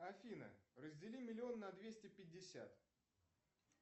афина раздели миллион на двести пятьдесят